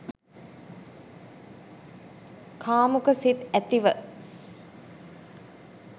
කාමුක සිත් ඇතිව